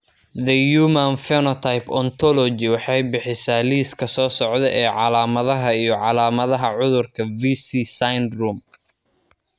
The Human Phenotype Ontology waxay bixisaa liiska soo socda ee calaamadaha iyo calaamadaha cudurka Vici syndrome.